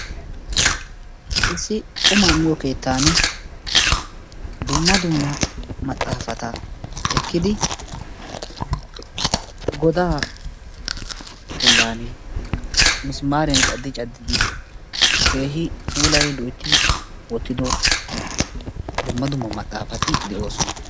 issi qumma miyo keetani dumma dumma maxaafata ekkidi godaa bollan misimaariyan cadcadi keehi pulayi wotidddo dumma dumma maxaafati de'oosona.